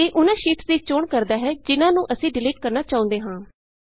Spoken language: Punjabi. ਇਹ ਉਹਨਾਂ ਸ਼ੀਟਸ ਦੀ ਚੋਣ ਕਰਦਾ ਹੈ ਜਿਹਨਾਂ ਨੂੰ ਅਸੀਂ ਡਿਲੀਟ ਕਰਨਾ ਚਾਹੁੰਦੇ ਹਾਂ